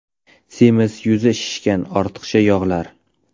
Semiz, yuzi shishgan, ortiqcha yog‘lar.